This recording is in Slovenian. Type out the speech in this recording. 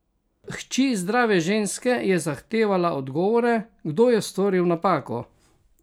Hči zdrave ženske je zahtevala odgovore, kdo je storil napako?